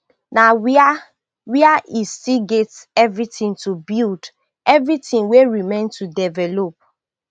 na wia wia e still get everytin to build everytin wey remain to develop